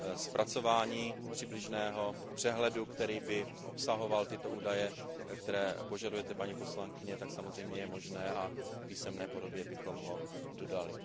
Zpracování přibližného přehledu, který by obsahoval údaje, které požadujete, paní poslankyně, je samozřejmě možné a v písemné podobě bychom ho dodali.